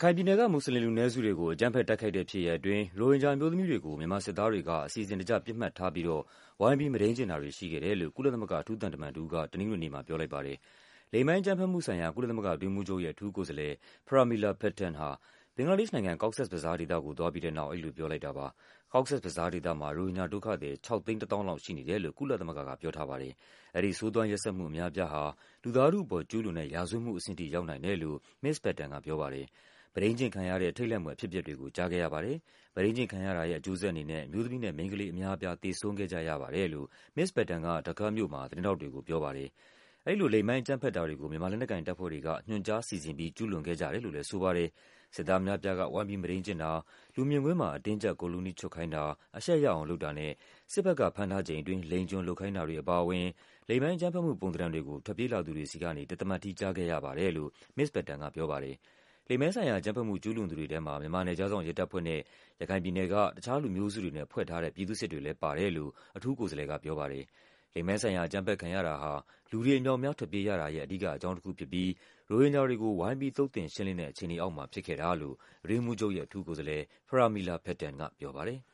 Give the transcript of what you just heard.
ခိုင်ပြည်နယ်က မွတ်စလင်လူနည်းစုတွေကို အကြမ်းဖက် တိုက်ခိုက်တဲ့ဖြစ်ရပ်အတွင်း ရိုဟင်ဂျာအမျိုးသမီးတွေကို မြန်မာ စစ်သားတွေက အစီအစဉ်တကျ ပစ်မှတ်ထားပြီးတော့ ဝိုင်းပြီးမုဒိမ်းကျင့်တာတွေရှိခဲ့တယ်လို့ ကုလသမဂ္ဂ အထူးသံတမန်တဦးက တနင်္ဂနွေနေ့မှာပြောလိုက်ပါတယ်။ လိင်ပိုင်းအကြမ်းဖက်မှုဆိုင်ရာ ကုလသမဂ္ဂအတွင်းရေးမှူးချုပ်ရဲ့ အထူးကိုယ်စားလှယ် Pramila Patten ဟာ ဘင်္ဂလားဒေ့ရှ်နိုင်ငံ၊ Cox’s Bazar ဒေသကိုသွားပြီးတဲ့နောက် အဲဒီလိုပြောလိုက်တာပါ။ Cox’s Bazar ဒေသမှာ ရိုဟင်ဂျာဒုက္ခသည် ၆၁၀,၀၀၀ လောက်ရှိနေတယ်လို့ ကုလသမဂ္ဂကပြောထားပါတယ်။ အဲဒီ ဆိုးသွမ်းရက်စက်မှုအများအပြားဟာ လူသားထုအပေါ်ကျူးလွန်တဲ့ ရာဇဝတ်မှုအဆင့်ထိ ရောက်နိုင်တယ်လို့ မစ္စ Patten က ပြောပါတယ်။ မုဒိမ်းကျင့်ခံရတဲ့ ထိတ်လန့်ဖွယ်အဖြစ်အပျက်တွေကို ကြားခဲ့ရပါတယ်၊ မုဒိမ်းကျင့်ခံရတာရဲ့ အကျိုးဆက်အနေနဲ့ အမျိုးသမီးနဲ့ မိန်းကလေးအများအပြား သေဆုံးခဲ့ကြရပါတယ်လို့ မစ္စ Patten က Dhaka မြို့မှာ သတင်းထောက်တွေကို ပြောပါတယ်။ အဲဒီလို လိင်ပိုင်းအကြမ်းဖက်တာတွေကို မြန်မာလက်နက်ကိုင်တပ်ဖွဲ့တွေက ညွှန်ကြား စီစဉ်ပြီး ကျူးလွန်ခဲ့ကြတယ်လို့လဲ ဆိုပါ တယ်။ စစ်သားအများအပြားက ဝိုင်းပြီး မုဒိမ်းကျင့်တာ၊ လူမြင်ကွင်းမှာ အတင်းအကျပ် ကိုယ်လုံးတီးချွတ်ခိုင်းတာ၊ အရှက်ရ အောင်လုပ်တာနဲ့ စစ်ဘက်ကဖမ်းထားချိန်အတွင်း လိင်ကျွန်လုပ်ခိုင်းတာတွေအပါအဝင် လိင်ပိုင်းအကြမ်းဖက်မှု ပုံသဏ္ဌာန်တွေကို ထွက်ပြေးလာသူတွေဆီကနေ တသမတ်တည်း ကြားခဲ့ရပါတယ်လို့ မစ္စ Patten ကပြောပါတယ်။ လိင်ပိုင်းဆိုင်ရာအကြမ်းဖက်မှု ကျူးလွန်သူတွေထဲမှာ မြန်မာနယ်ခြားစောင့်ရဲတပ်ဖွဲ့နဲ့ ရခိုင်ပြည်နယ်က တခြားလူမျိုးစုတွေနဲ့ဖွဲ့ထား တဲ့ ပြည်သူ့စစ်တွေလဲပါတယ်လို့ အထူးကိုယ်စားလှယ်ကပြောပါတယ်။ လိင်ပိုင်းဆိုင်ရာအကြမ်းဖက်ခံရတာဟာ လူတွေအမြောက်အများ ထွက်ပြေးရတာရဲ့ အဓိကအကြောင်းတခုဖြစ်ပြီး ရိုဟင်ဂျာတွေ ကို ဝိုင်းပြီး သုတ်သင်ရှင်းလင်းတဲ့ အခြေအနေအောက်မှာ ဖြစ်ခဲ့တာလို့ အတွင်းရေးမှူးချုပ်ရဲ့ အထူးကိုယ်စားလှယ် Pramila Patten ကပြောပါတယ်။